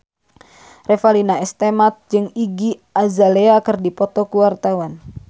Revalina S. Temat jeung Iggy Azalea keur dipoto ku wartawan